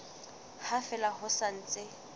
ha fela ho sa ntse